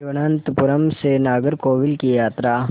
तिरुवनंतपुरम से नागरकोविल की यात्रा